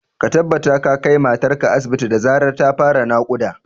Ka tabbata ka kai matar ka asibit da zarar ta fara naƙuda